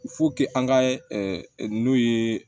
an ka n'o ye